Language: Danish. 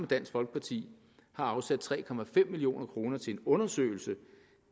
dansk folkeparti har afsat tre million kroner til en undersøgelse